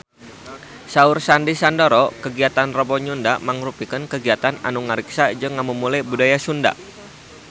Saur Sandy Sandoro kagiatan Rebo Nyunda mangrupikeun kagiatan anu ngariksa jeung ngamumule budaya Sunda